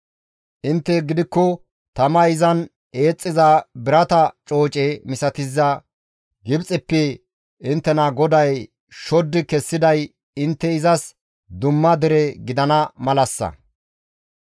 Intte gidikko tamay izan eexxiza birata cooce misatiza Gibxeppe inttena GODAY shoddi kessiday intte izas dumma dere gidana malassa.